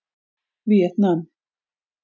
Víetnam